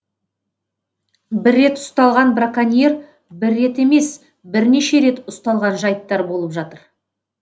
бір рет ұсталған браконьер бір рет емес бірнеше рет ұсталған жайттар болып жатыр